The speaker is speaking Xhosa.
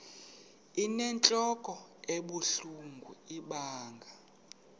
inentlok ebuhlungu ibanga